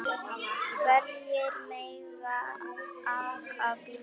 Hverjir mega aka bílnum?